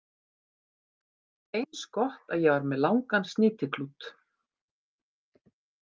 Eins gott að ég var með langan snýtiklút